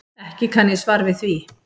Ekki kann ég svar við því.